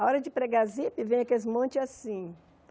A hora de pregar zipe, vem aquele monte assim.